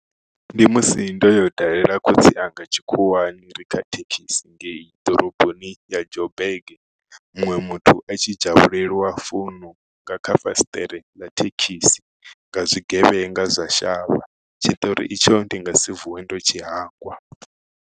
Ndi musi ndo yo dalela khotsi anga tshikhuwani rikha thekhisi ngei ḓoroboni ya joburg muṅwe muthu a tshi dzhavhulelwa founu nga kha fasiṱere ḽa thekhisi nga zwigevhenga zwa shavha tshiṱori itsho ndi nga si vuwe ndo tshihangwa.